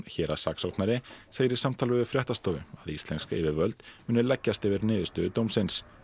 héraðssaksóknari segir í samtali við fréttastofu að íslensk yfirvöld muni leggjast yfir niðurstöðu dómsins